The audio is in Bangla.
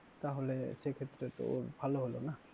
তাহলে সে ক্ষেত্রে তো ভালো হলো না?